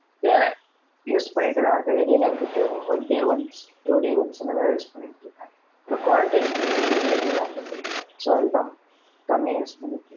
இல்லை, use பண்ணிட்டுதான் இருக்கேன். இடையில வந்துட்டு, one day once two day once இந்த மாதிரி, use பண்ணிட்டு இருக்கேன். So quarantine ல வெளிய போய் வாங்கிட்டு வர முடியல so, அதுக்குதான், கம்மியா use பண்ணிட்டுருக்~